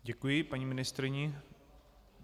Děkuji paní ministryni.